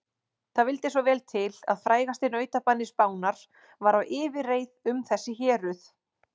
Það vildi svo vel til að frægasti nautabani Spánar var á yfirreið um þessi héruð.